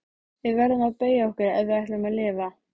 Við verðum að beygja okkur ef við ætlum að lifa.